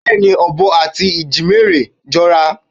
Bẹ́ẹ̀ni, ọ̀bọ àti ìjímèrè jọra.